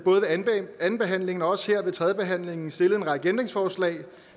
andenbehandlingen og også her ved tredjebehandlingen stillet en række ændringsforslag